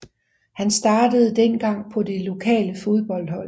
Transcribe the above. Han startede dengang på det lokale fodboldhold